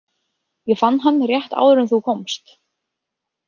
Ég fann hann rétt áður en þú komst.